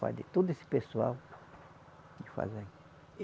Faz de todo esse pessoal ele faz aí